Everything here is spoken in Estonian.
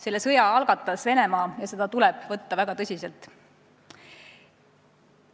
Selle sõja algatas Venemaa ja seda tuleb võtta tõsiselt.